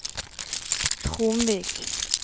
Tromvik